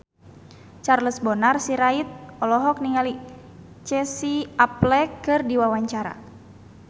Charles Bonar Sirait olohok ningali Casey Affleck keur diwawancara